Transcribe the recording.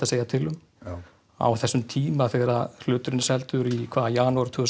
segja til um á þessum tíma þegar hluturinn er seldur í janúar tvö